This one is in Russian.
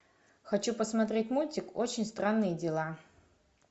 хочу посмотреть мультик очень странные дела